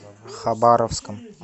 хабаровском